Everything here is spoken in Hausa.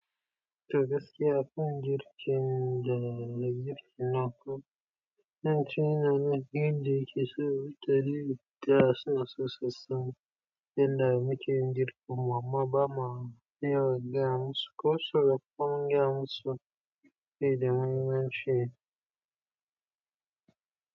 Da gaske abin girkin da na girkin naku, don tuni na na biyu da yake so wutar yi da asusu sassan, yadda muke girkin, amma ba ma na iya wajen suko soro kwan gyan su fi da mun yi nan she.